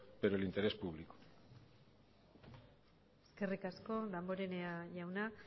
pero el interés público eskerrik asko damborenea jauna